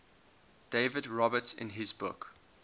david roberts in his book